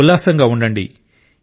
ఉల్లాసంగా ఉండండి